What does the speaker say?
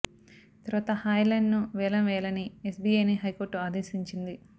తర్వాత హాయ్ లాండ్ ను వేలం వేయాలని ఎస్బీఐని హైకోర్టు ఆదేశించింది